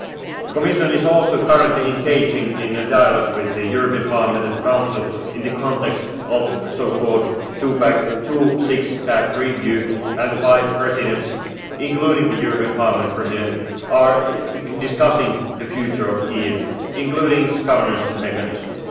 past. The Commission is also currently engaging in a dialogue with the European Parliament and the Council in the context of the so called two and six pack review, and five presidents, including the European Parliament President, are discussing the future of EMU, including its governance mechanism.